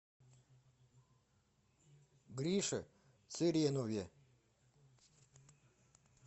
грише цыренове